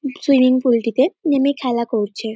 Swimming পুলটিতে নেমে খেলা করছে।